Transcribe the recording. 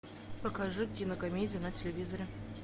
покажи кинокомедия на телевизоре